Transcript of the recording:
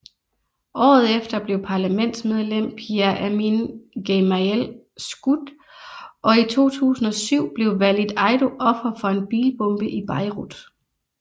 Året efter blev parlamentsmedlem Pierre Amine Gemayel skudt og i 2007 blev Walid Eido offer for en bilbombe i Beirut